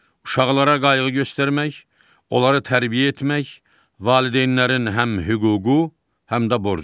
Uşaqlara qayğı göstərmək, onları tərbiyə etmək valideynlərin həm hüququ, həm də borcudur.